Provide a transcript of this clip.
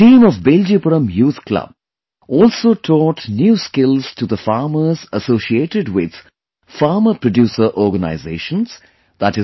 The team of 'Beljipuram Youth Club'also taught new skills to the farmers associated with Farmer ProducerOrganizations i